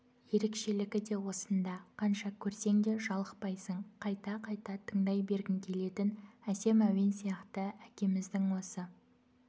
ерекшелігі де осында қанша көрсең де жалықпайсың қайта-қайта тыңдай бергің келетін әсем әуен сияқты әкеміздің осы